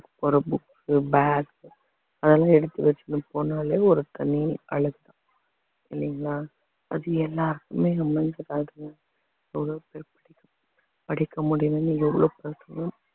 போற books உ bag அதெல்லாம் எடுத்து வச்சுட்டு போனாலே ஒரு தனி அழகு தான் இல்லைங்களா அது எல்லாருக்குமே படிக்க முடியலைன்னு எவ்வளோ பசங்க